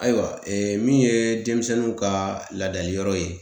Ayiwa ee min ye denmisɛnw ka laadali yɔrɔ ye